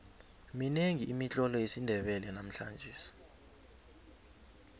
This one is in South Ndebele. minengi imitlolo yesindebele namhlangesi